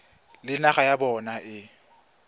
le naga ya bona e